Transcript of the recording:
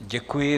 Děkuji.